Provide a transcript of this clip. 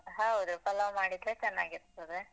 ಹೌದು ಪಲಾವ್ ಮಾಡಿದ್ರೆ ಚನ್ನಾಗಿರ್ತದೆ.